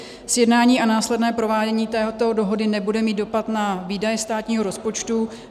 Sjednání a následné provádění této dohody nebude mít dopad na výdaje státního rozpočtu.